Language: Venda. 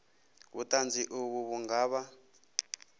vhuṱanzi uvho vhu nga vha